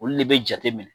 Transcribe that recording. Olu de bɛ jate minɛ